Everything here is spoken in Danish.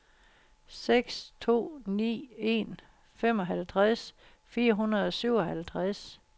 seks to ni en femoghalvtreds fire hundrede og syvoghalvtreds